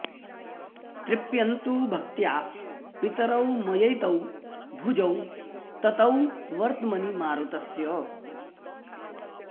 तृप्यन्तु भक्त्या पितरौ मयैतौ भुजौ ततौ वर्त्मनि मारुतस्य